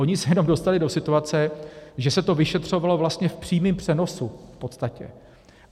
Oni se jenom dostali do situace, že se to vyšetřovalo vlastně v přímém přenosu v podstatě.